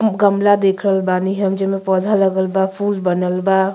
उ गमला दिख रहल बानी हम जेमे पौधा लगल बा फूल बनल बा।